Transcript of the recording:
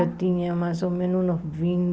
Eu tinha mais ou menos uns